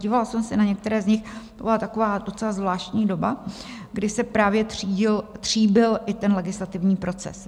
Dívala jsem se na některé z nich, to byla taková docela zvláštní doba, kdy se právě tříbil i ten legislativní proces.